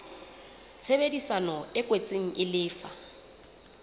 tshebedisano e kwetsweng e lefa